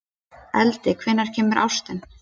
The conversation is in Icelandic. Eldey, hvenær kemur ásinn?